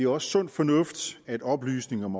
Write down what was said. også sund fornuft at oplysning om